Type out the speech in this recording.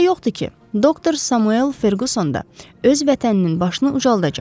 Şübhə yoxdur ki, doktor Samuel Ferquson da öz vətəninin başını ucaldacaq.